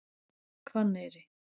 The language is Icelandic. Hvanneyri